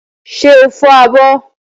Ṣé o fọ abọ́?